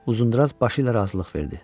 Uzundraz başı ilə razılıq verdi.